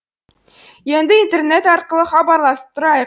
енді интернет арқылы хабарласып тұрайық